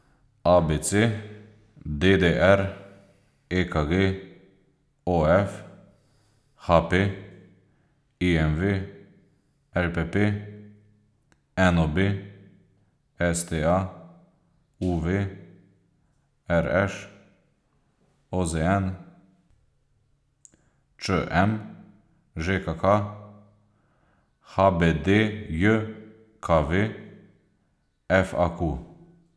A B C; D D R; E K G; O F; H P; I M V; L P P; N O B; S T A; U V; R Š; O Z N; Č M; Ž K K; H B D J K V; F A Q.